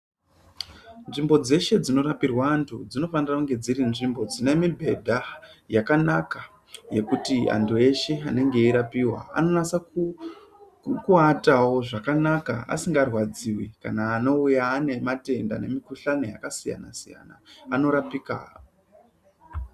Nzvimbo dzeshe dzinorapirwa antu dzinofanira kunge dziri nzvimbo dzine mibhedha yakanaka yekuti antu eshe anenge eirapiwa Anonasa kuatawa zvakanaka asingarwadziwi anouya ane matenda nemikuhlani yakasiyana siyana anorapika.